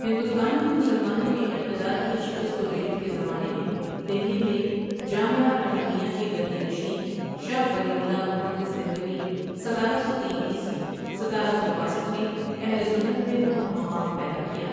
ہندوستان میں مسلمانوں کے اقتدار کی شکست و ریخت کے زمانے میں دہلی میں جامعہ رحیمیہ کے گدی نشین شاہ ولی اللہ محدث دہلوی ستارہ سو تین عیسوی ستارہ سو باسٹھ نے اہلسنت میں بہت مقام پیدا کیا۔